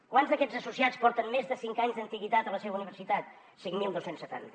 quants d’aquests associats porten més de cinc anys d’antiguitat a la seva universitat cinc mil dos cents setanta